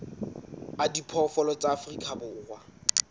a diphoofolo tsa afrika borwa